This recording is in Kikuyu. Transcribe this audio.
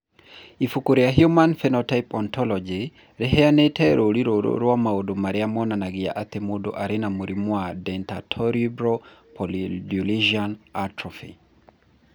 Ibuku rĩa Human Phenotype Ontology rĩheanĩte rũũri rũrũ rwa maũndũ marĩa monanagia atĩ mũndũ arĩ na mũrimũ wa Dentatorubral pallidoluysian atrophy.